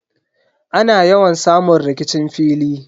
Ana yawan samun rikicin fili.